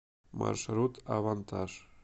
маршрут авантаж